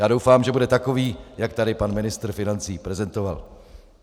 Já doufám, že bude takový, jak tady pan ministr financí prezentoval.